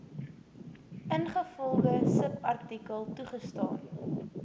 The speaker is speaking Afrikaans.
ingevolge subartikel toegestaan